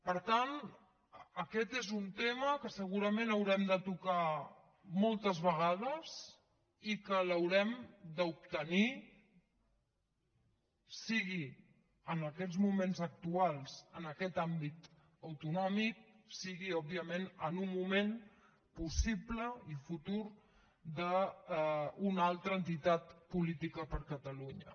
per tant aquest és un tema que segurament hem de tocar moltes vegades i que l’haurem d’obtenir sigui en aquests moments actuals en aquest àmbit autonòmic sigui òbviament en un moment possible i futur d’una altra entitat política per a catalunya